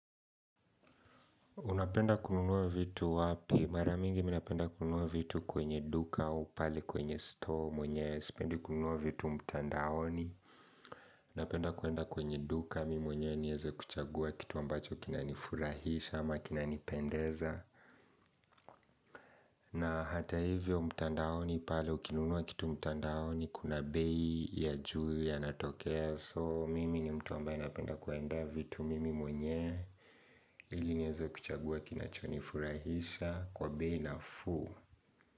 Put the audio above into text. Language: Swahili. Unapenda kununua vitu wapi? Mara mingi mi napenda kununua vitu kwenye duka au pale kwenye store mwenyewe sipendi kununua vitu mtandaoni. Unapenda kuenda kwenye duka, mimi mwenyewe nieze kuchagua kitu ambacho kinanifurahisha ama kinanipendeza. Na hata hivyo mtandaoni, pale ukinunua kitu mtandaoni, kuna bei ya juu yanatokea. So mimi ni mtu ambaye napenda kuendea vitu mimi mwenye ili nieze kuchagua kinachonifurahisha kwa bei nafuu.